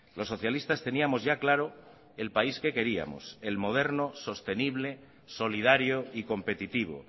los socialistas teníamos ya claro el país que queríamos el moderno sostenible solidario y competitivo